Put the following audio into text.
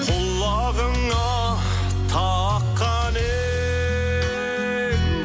құлағыңа таққаның